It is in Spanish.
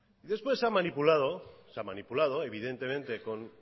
después se ha manipulado evidentemente con